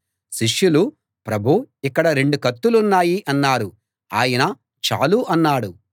శిష్యులు ప్రభూ ఇక్కడ రెండు కత్తులున్నాయి అన్నారు ఆయన చాలు అన్నాడు